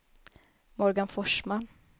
Morgan Forsman